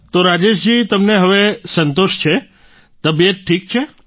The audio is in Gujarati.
તો રાજેશજી તમને હવે સંતોષ છે તબિયત ઠીક છે